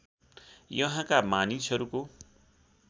यहाँका मानिसहरूको